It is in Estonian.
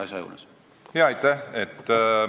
Aitäh!